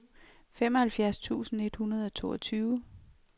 femoghalvfjerds tusind et hundrede og toogtyve